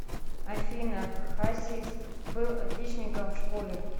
афина хасис был отличником в школе